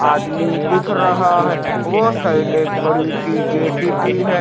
आदमी दिख रहा है वह साइड एक बड़ी सी है।